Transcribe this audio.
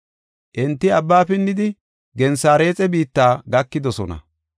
Enti abba pinnidi Gensareexe biitta gakidosona.